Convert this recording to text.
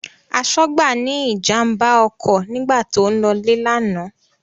Aṣọ́gbà ní ìjàmbá ọkọ̀ nígbà tó ń lọ́lé lánàá.